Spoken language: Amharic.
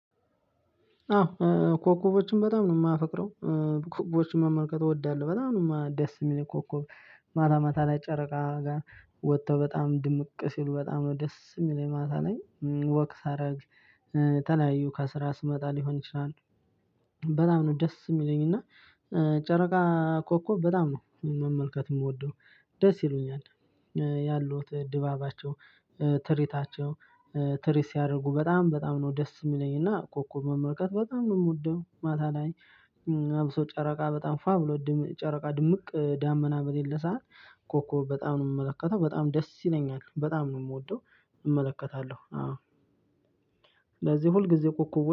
አዎ ኮከቦችን በጣም ነው የማፈቅረው። ኮከቦችን መመልከት እወዳለሁ በጣም ነው ደስ የሚለኝ ኮከብ ማታ ማታ ላይ ጨረቃ ጋር ወጥቶ በጣም ድምቅ ሲሉ በጣም ነው ደስ የሚለኝ ማታ ላይ። ወክ ሳረግ ተለያዩ ከስራ ስመጣ ሊሆን ይችላል፣ በጣም ነው ደስ የሚለኝ፤ እና ጨረቃ ኮኮብ በጣም ነው መመልከት የምወደው። ደስ ይሉኛል። ያሉት ድባባቸው ትሪታቸው ትሪት ሲያደርጉ በጣም በጣም ነው ደስ የሚለኝና ኮኮብ መመልከት በጣም ነው የምወደው። ማታ ላይ አብሶ ጨረቃ በጣም ፏ ብሎ ጨረቃ ድምቅ ዳመና በሌለ ሰዓት ኮኮብ በጣም ነው የምመለከተው፤ በጣም ደስ ይለኛል። በጣም ነው የምወደው እመለከታለሁ አዎ። ለዚህ ሁልጊዜ ኮከቦ